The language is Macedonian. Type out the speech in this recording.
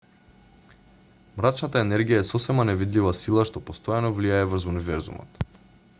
мрачната енергија е сосема невидлива сила што постојано влијае врз универзумот